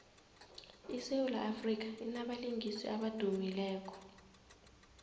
isewula afrika inabalingiswa abadumileko